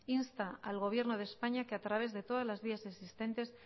insta al gobierno de españa que a través de todas las vías existentes